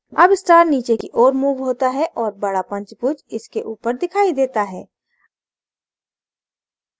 अब star नीचे की ओर moved होता है और बडा पंचभुज इसके ऊपर दिखाई देता है